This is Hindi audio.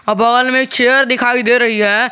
अ बगल मे चेयर दिखाई दे रही है।